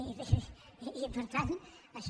i per tant això